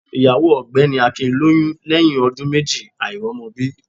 Ìyàwó ògbẹ́ni Akin lóyún lẹ́yìn ọdún méjì àìrọ́mọbí